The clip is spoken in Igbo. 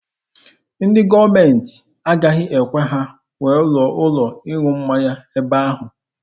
Ndị gọọmenti agaghị ekwe ha wuo ụlọ ịṅụ mmanya n'ebe ahụ.